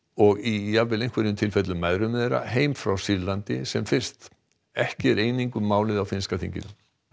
og í jafnvel í einhverjum tilfellum mæðrum þeirra heim frá Sýrlandi sem fyrst ekki er eining um málið á finnska þinginu